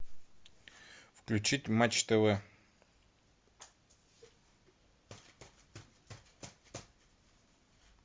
включить матч тв